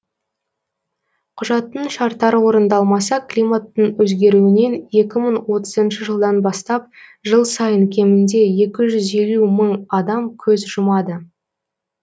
құжаттың шарттары орындалмаса климаттың өзгеруінен екі мың отызыншы жылдан бастап жыл сайын кемінде екі жүз елу мың адам көз жұмады